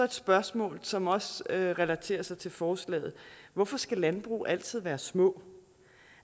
spørgsmål som også relaterer sig til forslaget hvorfor skal landbrug altid være små